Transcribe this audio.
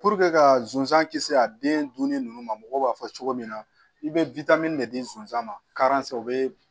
ka sonsan kisi a den dun ni ninnu ma mɔgɔw b'a fɔ cogo min na i bɛ de di sonsan ma u bɛ